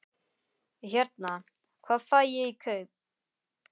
Hérna. hvað fæ ég í kaup?